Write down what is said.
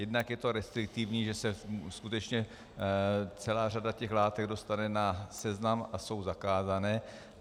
Jednak je to restriktivní, že se skutečně celá řada těch látek dostane na seznam a jsou zakázané.